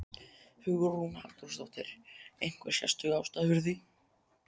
Hugrún Halldórsdóttir: Einhver sérstök ástæða fyrir því?